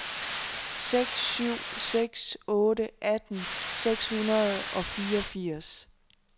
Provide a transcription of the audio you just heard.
seks syv seks otte atten seks hundrede og fireogfirs